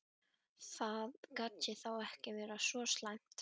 Það gat þá ekki verið svo slæmt.